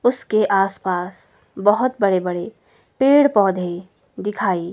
उसके आस पास बहोत बड़े बड़े पेड़ पौधे दिखाई--